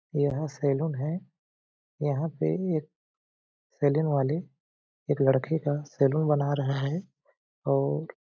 यहाँ सैलून है यहाँ पे एक सैलून वाले एक लड़के का सैलून बना रहा है और --